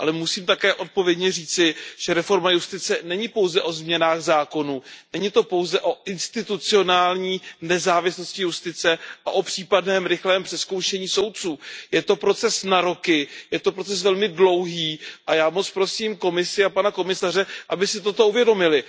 Ale musím také odpovědně říci, že reforma justice není pouze o změnách zákonů, není to pouze o institucionální nezávislosti justice a o případném rychlém přezkoušení soudců, je to proces na roky, je to proces velmi dlouhý, a já moc prosím Komisi a pana komisaře, aby si toto uvědomili.